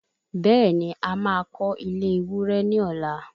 Bẹẹni a má kó ilé ewúrẹ́ ní ọ̀la